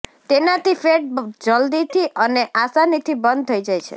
તેનાથી ફેટ જલદીથી અને આસાનીથી બર્ન થઇ જાય છે